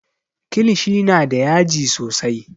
Kilishi na da yaji sosai